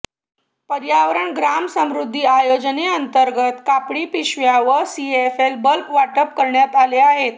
पर्यावरण ग्राम समृद्धी योजनेंतर्गत कापडी पिशव्या व सीएफएल बल्ब वाटप करण्यात आले आहे